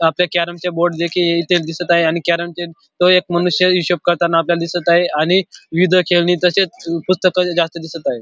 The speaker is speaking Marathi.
अ आपल्या कॅरेम चे बोर्ड देखील इथे दिसत आहे आणि कॅरेमचे तो एक मनुष्य हिशोब करताना आपल्याला दिसत आहे आणि विविध प्रकारचे खेळणी तसेच पुस्तक जास्त दिसत आहेत.